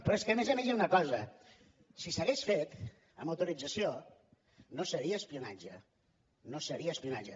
però és que a més a més hi ha una cosa si s’hagués fet amb autorització no seria espionatge no seria espionatge